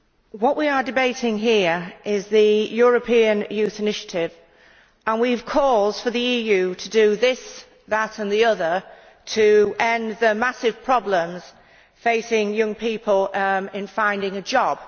what we are debating here is the European Youth Initiative, and we have calls for the EU to do this, that and the other to end the massive problems facing young people in finding a job.